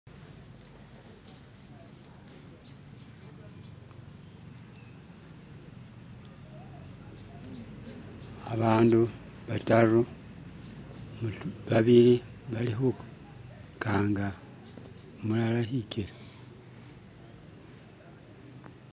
Abandu bataru babili balikhu kanga umulala hikele